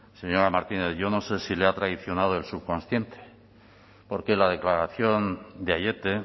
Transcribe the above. señora martínez yo no sé si le ha traicionado el subconsciente porque la declaración de aiete